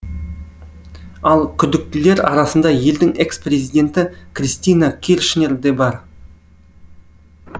ал күдіктілер арасында елдің экс президенті кристина киршнер де бар